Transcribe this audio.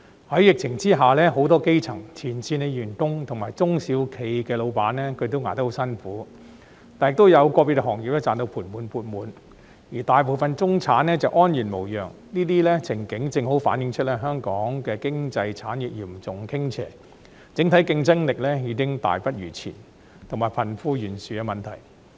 在疫情下，很多基層、前線員工及中小企的老闆都捱得很辛苦，但亦有個別行業賺到盤滿缽滿，而大部分中產則安然無恙，這些情景正好反映香港經濟產業嚴重傾斜、整體競爭力已經大不如前，還有貧富懸殊的問題。